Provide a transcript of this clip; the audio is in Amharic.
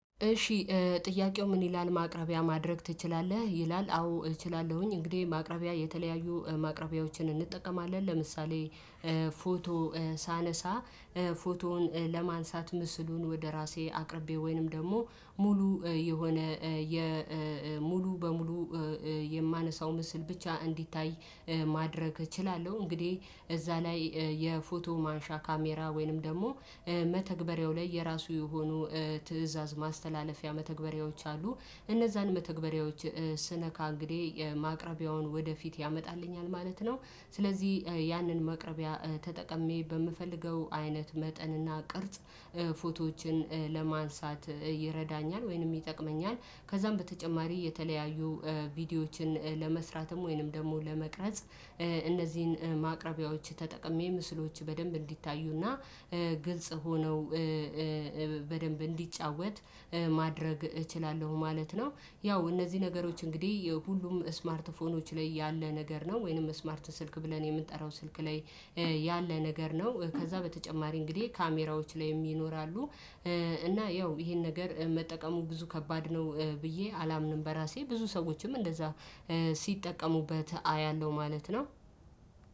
እሺ ጥያቄው ምን ይላል ማቅረቢያ ማድረግ ትችላለህ ይላል? አዎ እችላለሁኝ እንግዲህ ማቅረቢያ የተለያዩ ማቅረቢያዎችን እንጠቀማለን። ለምሳሌ ፎቶ ሳነሳ ፎቶውን ለማንሳት ምስሉን ወደ ራሴ አቅርቤ ወይንም ደግሞ ሙሉ የሆነ ሙሉ በሙሉ የማነሳው ምስል ብቻ እንዲታይ ማድረግ እችላለሁ። እንግዲህ እዛ ላይ የፎቶ ማንሻ ካሜራ ወይንም ደግሞ መተግበሪያው ላይ የራሱ የሆኑ ትእዛዝ ማስተላለፊያ መተግበሪያዎች አሉ እነዛን መተግበሪያዎች ስነካ እንግዲህ የማቅረቢያውን ወደፊት ያመጣልኛል ማለት ነው። ስለዚህ ያንን መቅረቢያ ተጠቅሜ በምፈልገው አይነት መጠንና ቅርጽ ፎቶዎችን ለማንሳት ይረዳኛል። ወይንም ይጠቅመኛል ከዛም በተጨማሪ የተለያዩ ቪዲዮዎችን ለመስራትም ወይንም ደግሞ ለመቅረጽ እነዚህን ማቅረቢያዎች ተጠቅሜ ምስሎች በደንብ እንዲታዩና ግልጽ ሆነው በደንብ እንዲጫወት ማድረግ እችላለሁ ማለት ነው። ያው እነዚህ ነገሮች እንግዲህ ሁሉም ስማርት ፎኖች ያለ ነገር ነው ወይንም ስማርት ስልክ ብለን የምንጠራው ስልክ ላይ ያለ ነገር ነው። ከዛ በተጨማሪ እንግዲህ ካሜራዎች ላይ ይኖራሉ። እና ያው ይሄን ነገር መጠቀሙ ብዙ ከባድ ነው ብዬ አላምንም በራሴ ብዙ ሰዎችም እንደዛ ሲጠቀሙበት አያለሁ ማለት ነው።